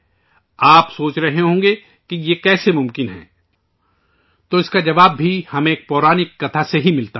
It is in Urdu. آپ سوچ رہے ہوں گے کہ ایسا کیسے ممکن ہے؟ تو اس کا جواب بھی ایک اساطیری کہانی سے ملتا ہے